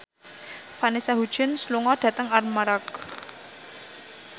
Vanessa Hudgens lunga dhateng Armargh